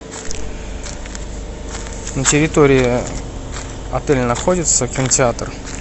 на территории отеля находится кинотеатр